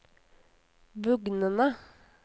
bugnende